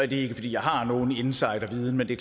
det er ikke fordi jeg har nogen insiderviden men det